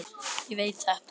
Ég veit þetta.